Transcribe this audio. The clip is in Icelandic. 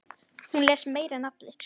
Hún les meira en allir.